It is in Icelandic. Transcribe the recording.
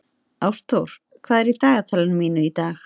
Ástþóra, hvað er í dagatalinu mínu í dag?